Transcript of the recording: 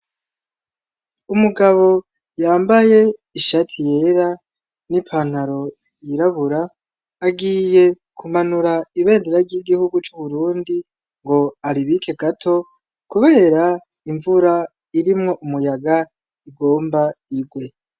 Umugabo yambaye ishati yera ,n'ipantaro yirabura agiye kumanura ibendera ry'igihugu c'Uburundi ,ngo aribike gato , kubera imvura irimwo umuyaga igomba igwe.